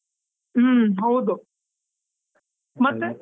ಹುಮ್ ಹೌದು. ಮತ್ತೆ.